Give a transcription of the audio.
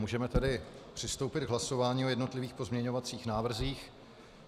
Můžeme tedy přistoupit k hlasování o jednotlivých pozměňovacích návrzích.